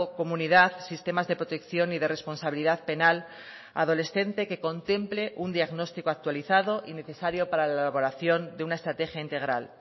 comunidad sistemas de protección y de responsabilidad penal adolescente que contemple un diagnóstico actualizado y necesario para la elaboración de una estrategia integral